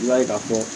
I b'a ye ka fɔ